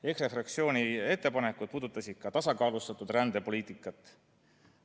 EKRE fraktsiooni ettepanekud puudutasid ka tasakaalustatud rändepoliitikat.